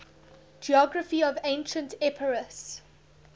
geography of ancient epirus